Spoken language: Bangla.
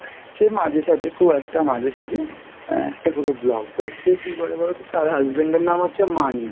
সে মাঝে সাঝে খুব একটা মাঝেসাজে আহ একটা করে vlog করছে, কি করে বলতো তার husband এর নাম হচ্ছে মানিক